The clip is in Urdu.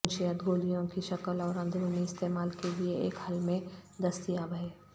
منشیات گولیوں کی شکل اور اندرونی استعمال کے لئے ایک حل میں دستیاب ہے